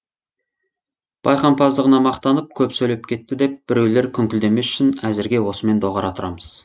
байқампаздығына мақтанып көп сөйлеп кетті деп біреулер күңкілдемес үшін әзірге осымен доғара тұрамыз